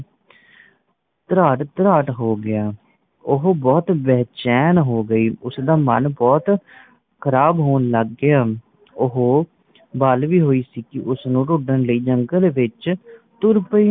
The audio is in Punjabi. ਤ੍ਰਾਹਟ ਤ੍ਰਾਹਟ ਹੋ ਗਿਆ। ਉਹ ਬਹੁਤ ਬੇਚੈਨ ਹੋ ਗਈ ਉਸਦਾ ਮਨ ਬਹੁਤ ਖ਼ਰਾਬ ਹੋਣ ਲੱਗ ਗਿਆ। ਉਹ ਬਾਲਵਿਰ ਹੋਈ ਸੀਂ ਕੀਂ ਉਸਨੂੰ ਢੂੰਢਣ ਲਈ ਜੰਗਲ ਵਿਚ ਤੁਰ ਪਈ।